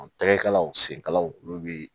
Tɛgɛkalaw senkalaw olu bi